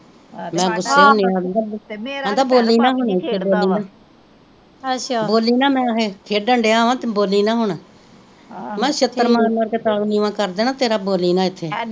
ਮੈ ਗੁੱਸੇ ਹੁੰਨੀ ਹਾਂ ਓਹਨੂੰ ਤੇ ਆਂਦਾ ਬੋਲੀ ਨਾ ਹੁਣ ਨਹੀਂ ਖੇਡ ਦਾ ਬੋਲੀ ਨਾ ਬੋਲੀ ਨਾ ਮੈ ਅਹੇ ਖੇਡਣ ਦਿਆ ਵਾ ਤੂੰ ਬੋਲੀ ਨਾ ਹੁਣ ਮੈ ਕਿਹਾ ਛਿੱਤਰ ਮਾਰ ਮਾਰ ਕੇ ਤਾਲੂ ਕਰ ਦੇਣਾ ਤੇਰਾ ਬੋਲੀ ਨਾ ਇੱਥੇ